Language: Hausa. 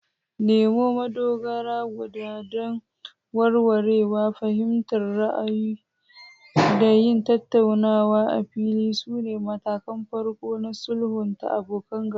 Nemo madogara guda don warwarewa, fahimtar ra'ayoyi, da yin tattaunawa a fili sune matakan farko na sulhunta abokan gaba.